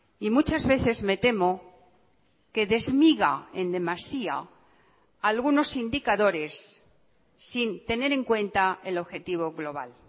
y muchas veces me temo que desmiga en demasía algunos indicadores sin tener en cuenta el objetivo global